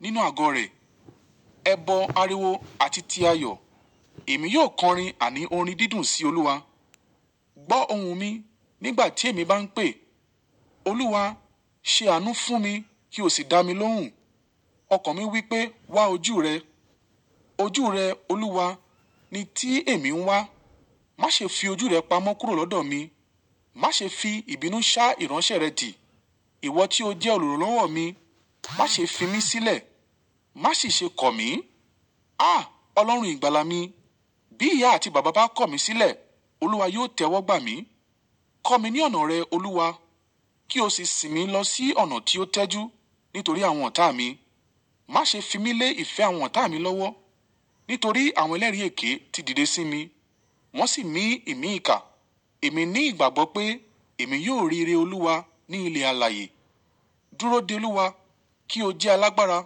Nínú àgọ́ rẹ̀, ẹbọ ariwo àti ti ayọ̀, èmi yóò kọrin àní orin dídùn sí Olúwa. Gbọ́ ohùn mi nígbà tí èmi bá ń pè. Olúwa, ṣe àánú fún mi, kí o sì dá mi lóhùn. Ọkàn mi wí pé, wá ojú rẹ. Ojú rẹ, Olúwa, ni tí èmi ń wá. Má ṣe fi ojú rẹ pamọ́ kúrò lọ́dọ̀ mi. Má ṣe fi ìbínú ṣá ìránṣẹ́ rẹ dì. Ìwọ tí ó jẹ́ olùrànlọ́wọ́ mi, má ṣe fi mí sílẹ̀, má sì ṣe kọ̀ mí. À! Ọlọ́run ìgbàlà mi, bí ìyá àti bàbá bá kọ̀ mí sílẹ̀, Olúwa yóò tẹ́wọ́gbà mí. Kọ́ mi ní ọ̀nà rẹ, Olúwa, kí o sì sì mí lọ sí ọ̀nà tí ó tẹ́jú. Nítorí àwọn ọ̀tá mi, má ṣe fi mí lé ìfẹ́ àwọn ọ̀tá mi lọ́wọ́. Nítorí àwọn ẹlẹ́rìí èké ti dìde sí mi, wọ́n sì mí ìmí ìka. Èmi ní ìgbàgbọ́ pé èmi yóò rí ìré Olúwa ní ilẹ̀ alààyè. Dúró de Olúwa kí o jẹ́ alágbára,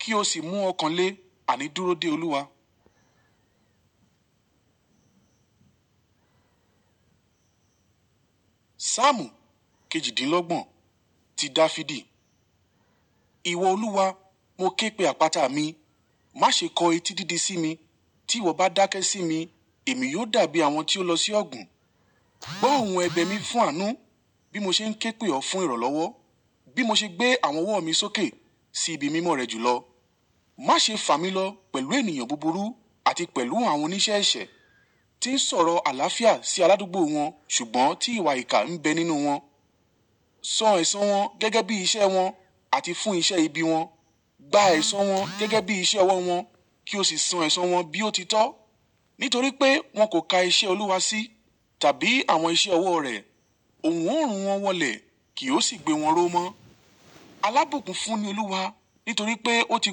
kí o sì mú ọkàn le àní dúró de Olúwa. Sámù kejìdínlọ́gbọ̀n, ti Dafidi. Ìwọ Olúwa, mo ké pe àpáta mi, má ṣe kọ etí dídí sí mi. Tí ìwọ bá dákẹ́ sí mi, èmi yóò dàbí àwọn tí ó lọ sí ọ̀gùn. Gbọ́ ohùn ẹbẹ̀ mi fún àánú bí mo ṣe ń ké pè ọ fún ìrànlọ́wọ́. Bí mo ṣe gbé àwọn ọwọ́ mi sókè sí ibi mímọ́ rẹ jùlọ. Má ṣe fà mí lọ pẹ̀lú ènìyàn búburú àti pẹ̀lú àwọn oníṣẹ́ ẹ̀ṣẹ̀ tí ń sọ̀rọ̀ àlàáfíà sí aládùúgbò wọn ṣùgbọ́n tí ìwà ìkà ń bẹ nínú wọn. Sọ ẹ̀ṣọ́ wọn gẹ́gẹ́ bí iṣẹ́ wọn àti fún iṣẹ́ ibi wọn. Gba ẹ̀ṣọ́ wọn gẹ́gẹ́ bí iṣẹ́ ọwọ́ wọn kí o sì san ẹ̀ṣọ́ wọn bí ó ti tọ́. Nítorí pé wọn kò ka iṣẹ́ Olúwa sí tàbí àwọn iṣẹ́ ọwọ́ rẹ̀, ohùn òórùn wọn wọlé kì ó sì gbé wọn ró mọ́. Alábùkún fún ni Olúwa nítorí pé ó ti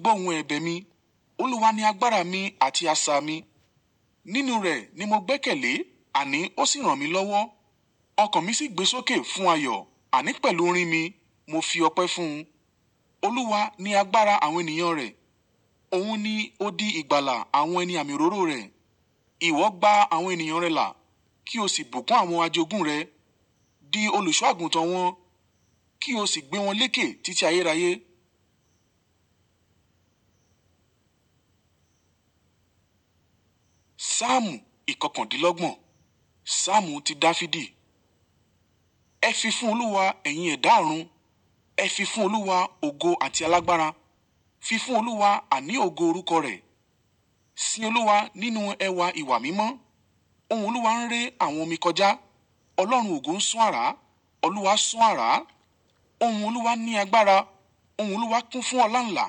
gbọ́ ohùn ẹbẹ̀ mi. Olúwa ni agbára mi àti asà mi. Nínú rẹ̀ ni mo gbẹ́kẹ̀lé àní ó sì ràn mí lọ́wọ́. Ọkàn mi sì gbé sókè fún ayọ̀, àní pẹ̀lú orin mi, mo fi ọpẹ́ fún. Olúwa ni agbára àwọn ènìyàn rẹ̀. Òun ni ó di ìgbàlà àwọn ẹni àmì òróró rẹ̀. Ìwọ gba àwọn ènìyàn rẹ là, kí o sì bùkún àwọn ajogún rẹ. Di olùṣọ́ àgùntàn wọn kí o sì gbé wọn léèké títí ayé rayé. Sámù ìkọkàndínlọ́gbọ̀n, Sámù ti Dafidi. Ẹ fi fún Olúwa ẹ̀yìn ẹ̀dá àrùn, ẹ fi fún Olúwa ògo àti alágbára. Fi fún Olúwa àní ògo orúkọ rẹ̀. Sin Olúwa nínú ẹwà ìwà mímọ́. Ohun Olúwa ń rẹ àwọn omi kọjá. Ọlọ́run ògo ń sún àrá, Olúwa sún àrá. Ohun Olúwa ní agbára, ohun Olúwa kún fún ọláńlà.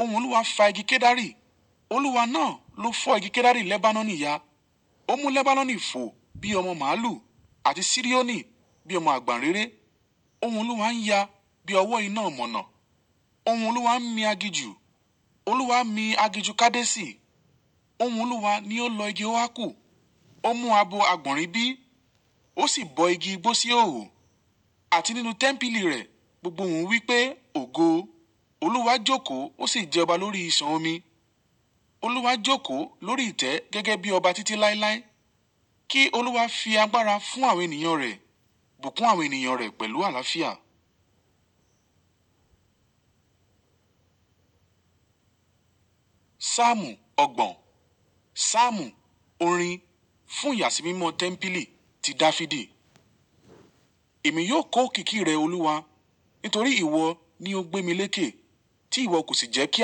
Ohun Olúwa fa igi kedari, Olúwa náà ló fọ́ igi kedari Lebanon níya. Ó mú Lebanon fò bí ọmọ màlúù àti Sirioni bí ọmọ àgbàǹréré. Ohun Olúwa ń ya bí ọwọ́ iná ọ̀mọ̀nà. Ohun Olúwa ń mi aginjù, Olúwa mi aginjù Kadesi. Ohun Olúwa ni ó lọ igi óákù, ó mú abo àgbọ̀nrín bí, ó sì bọ́ igi gbó sí òòru. Àti nínú tẹ́ḿpìlì rẹ̀, gbogbo ohùn wí pé, ògo. Olúwa jókòó, ó sì jẹ ọba lórí ìṣàn omi. Olúwa jókòó lórí ìtẹ́ gẹ́gẹ́ bí ọba títí láéláé. Kí Olúwa fi agbára fún àwọn ènìyàn rẹ̀, bùkún àwọn ènìyàn rẹ̀ pẹ̀lú àlàáfíà. Sámù ọgbọ̀n, Sámù orin fún ìyàsímímọ́ tẹ́ḿpìlì ti Dafidi. Èmi yóò kó kìkì rẹ, Olúwa, nítorí ìwọ ni ó gbé mi léèké tí ìwọ kò sì jẹ́ kí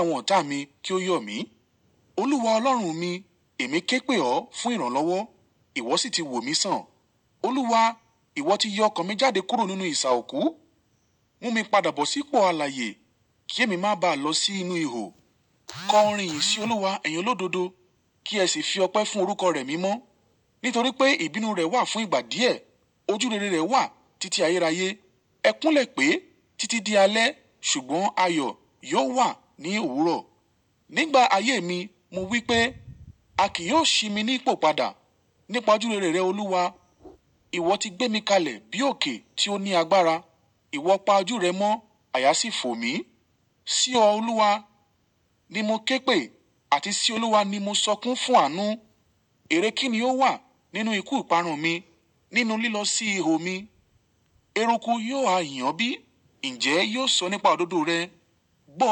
àwọn ọ̀tá mi kí ó yọ̀ mí. Olúwa Ọlọ́run mi, èmi ké pè ọ fún ìrànlọ́wọ́, ìwọ sì ti wò mí sàn. Olúwa, ìwọ ti yọ ọkàn mi jáde kúrò nínú ìṣà òkú. Mú mi padà bọ̀ sí ipò alààyè kí èmi má bá lọ sí inú ihò. Kọ orin yìí sí Olúwa, ẹ̀yin olódodo, kí ẹ sì fi ọpẹ́ fún orúkọ rẹ̀ mímọ́. Nítorí pé ìbínú rẹ̀ wà fún ìgbà díẹ̀, ojúrere rẹ̀ wà títí ayé rayé. Ẹ kúnlẹ̀ pé títí di alẹ́ ṣùgbọ́n ayọ̀ yóò wà ní òwúrọ̀. Nígbà ayé mi, mo wí pé, a kì yóò ṣi mi ní ipò padà nípa ojúrere Olúwa. Ìwọ ti gbé mi kalẹ̀ bí òkè tí ó ní agbára. Ìwọ pa ojú rẹ mọ́, àyà sì fò mí. Sí ọ, Olúwa, ni mo ké pè àti sí Olúwa ni mo sọkún fún àánú. Ère kí ni ó wà nínú ikú ìparun mi, nínú lílọ sí ihò mi? Eruku yóò há yàn bí, ǹjẹ́ ẹ yóò sọ nípa òdodo rẹ? Gbọ́